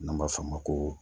N'an b'a f'a ma ko